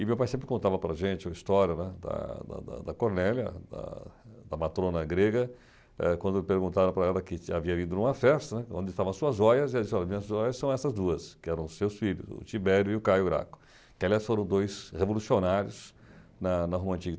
E meu pai sempre contava para gente a história né da da da da Cornélia, da da matrona grega, eh quando perguntaram para ela que havia vindo numa festa, né, onde estavam as suas joias, e as joias são essas duas, que eram os seus filhos, o Tiberio e o Caio Graco, que aliás foram dois revolucionários na na Roma Antiga.